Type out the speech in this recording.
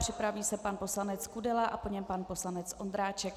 Připraví se pan poslanec Kudela a po něm pan poslanec Ondráček.